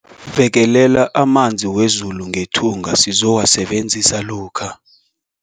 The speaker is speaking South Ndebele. Bekelela amanzi wezulu ngethunga sizowasebenzisa lokha.